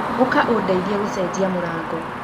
Ũka ũndeithie gũcenjia mũrango.